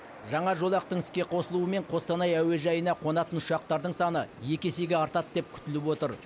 жаңа жолақтың іске қосылуымен қостанай әуежайына қонатын ұшақтардың саны екі есеге артады деп күтіліп отыр